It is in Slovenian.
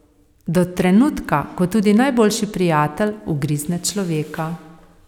Do trenutka, ko tudi najboljši prijatelj ugrizne človeka.